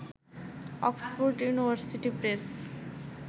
Oxford University press